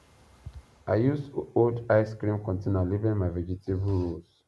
i use old ice cream container label my vegetable rows